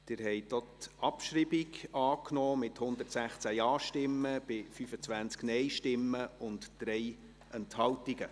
Sie haben auch die Abschreibung angenommen, mit 116 Ja- zu 25 Nein-Stimmen bei 3 Enthaltungen.